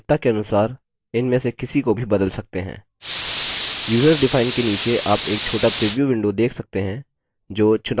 userdefined के नीचे आप एक छोटा प्रीव्यू window देख सकते हैं जो चुनाव को दिखाता है